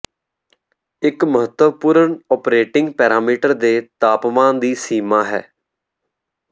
ਇੱਕ ਮਹੱਤਵਪੂਰਨ operating parameter ਦੇ ਤਾਪਮਾਨ ਦੀ ਸੀਮਾ ਹੈ